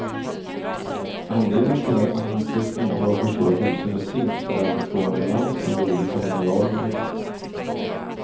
Anledningen till att man inte ska intaga för stora doser med zink är att det ska vara en balans mellan de olika mineralerna.